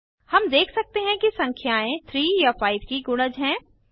हम देख सकते हैं कि संख्याएं 3 या 5 की गुणज हैं